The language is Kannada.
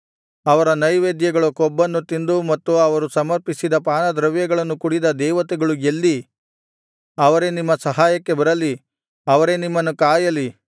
ಅವರ ನೈವೇದ್ಯಗಳ ಕೊಬ್ಬನ್ನು ತಿಂದು ಮತ್ತು ಅವರು ಸಮರ್ಪಿಸಿದ ಪಾನದ್ರವ್ಯಗಳನ್ನು ಕುಡಿದ ದೇವತೆಗಳು ಎಲ್ಲಿ ಅವರೇ ನಿಮ್ಮ ಸಹಾಯಕ್ಕೆ ಬರಲಿ ಅವರೇ ನಿಮ್ಮನ್ನು ಕಾಯಲಿ